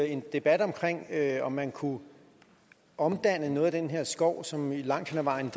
en debat omkring at man kunne omdanne noget af den her skov som jo langt hen ad vejen